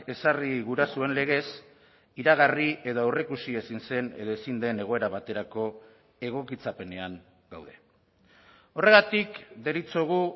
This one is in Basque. ezarri gurasoen legez iragarri edo aurreikusi ezin zen edo ezin den egoera baterako egokitzapenean gaude horregatik deritzogu